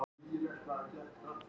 eða koma þau af sama grunni